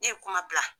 Ne ye kuma bila